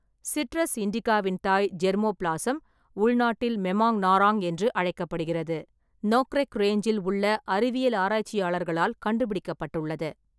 Citrus இண்டிகாவின் தாய் germplasm (உள்நாட்டில் மெமாங் நாரங் என்று அழைக்கப்படுகிறது) நோக்ரெக் ரேஞ்சில் உள்ள அறிவியல் ஆராய்ச்சியாளர்களால் கண்டுபிடிக்கப்பட்டுள்ளது.